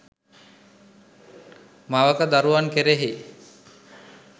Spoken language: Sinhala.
මවක දරුවන් කෙරෙහි